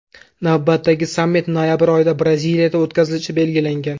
Navbatdagi sammit noyabr oyida Braziliyada o‘tkazilishi belgilangan.